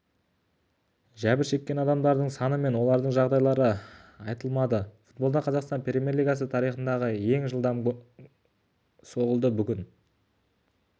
жәбір шеккен адамдардың саны мен олардың жағдайлары айтылмады футболдан қазақстан премьер-лигасы тарихындағы ең жылдам соғылды бүгін